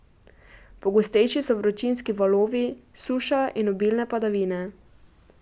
Pogostejši so vročinski valovi, suša in obilne padavine.